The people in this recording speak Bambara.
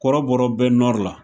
Kɔrɔbɔrɔ bɛ la